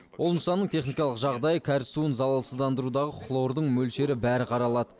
ол нысанның техникалық жағдайы кәріз суын залалсыздандырудағы хлордың мөлшері бәрі қаралады